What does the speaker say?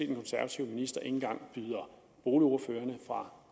den konservative minister ikke engang byder boligordførerne fra